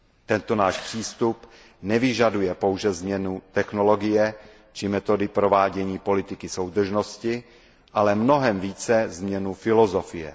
Tento náš přístup nevyžaduje pouze změnu technologie či metody provádění politiky soudržnosti, ale mnohem více změnu filozofie.